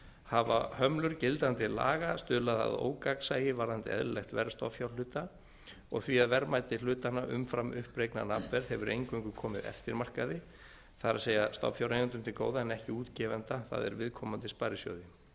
hafa hömlur gildandi laga stuðlað að ógagnsæi varðandi eðlilegt verð stofnfjárhluta og því að verðmæti hlutanna umfram uppreiknað nafnverð hefur eingöngu komið eftirmarkaði það er að segja stofnfjáreigendum til góða en ekki útgefanda það er viðkomandi sparisjóði